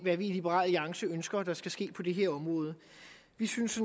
det vi i liberal alliance ønsker skal ske på det her område vi synes